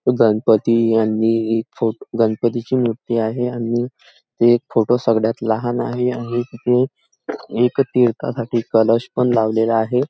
गणपती आणि एक फोट गणपतीची मूर्ती आहे आणि एक फोटो सर्वात लहान आहे आणि तिथे एका तीर्थ साठी कलश पण लावलेला आहे.